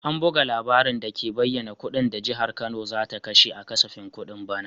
An buga labarin dake bayyana kudin da Jihar Kano za ta kashe a kasafin kudin bana.